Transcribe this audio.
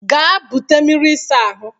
Gaa bute mmiri ịsa ahụ